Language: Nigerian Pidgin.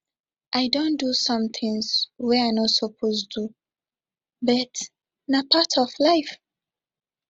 i don do some things wey i no suppose do but na part of life